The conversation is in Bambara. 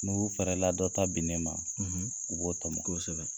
N'u fɛɛrɛ la dɔ ta binnen ma, , u b'o tɔmɔ. Kosɛbɛ.